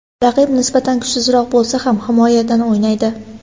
Raqib nisbatan kuchsizroq bo‘lsa ham himoyadan o‘ynaydi.